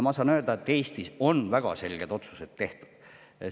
Ma saan öelda, et Eestis on väga selged otsused tehtud.